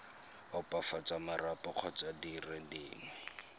opafatsa marapo kgotsa dire dingwe